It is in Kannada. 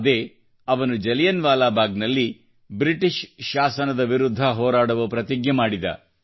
ಅದೇ ಜಲಿಯನ್ ವಾಲಾಬಾಗ್ನಲ್ಲಿ ಅವನು ಬ್ರಿಟಿಷ್ ಶಾಸನದ ವಿರುದ್ಧ ಹೋರಾಡುವ ಪ್ರತಿಜ್ಞೆ ಮಾಡಿದ